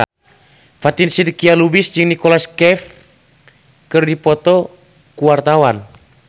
Fatin Shidqia Lubis jeung Nicholas Cafe keur dipoto ku wartawan